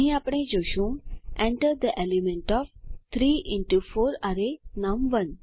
અહીં આપણે જોશું enter the element of 3 into 4 અરે નમ1